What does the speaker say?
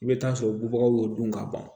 I bɛ taa sɔrɔ bubagaw y'o dun ka ban